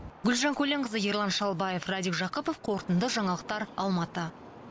гүлжан көленқызы ерлан шалбаев радик жақыпов қорытынды жаңалықтар алматы